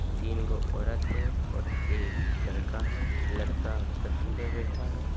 तीनगो औरत हैं और एक लड़का है लड़का पत्थर पर बैठा है।